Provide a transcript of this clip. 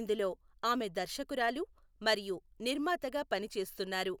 ఇందులో ఆమె దర్శకురాలు మరియు నిర్మాతగా పని చేస్తున్నారు.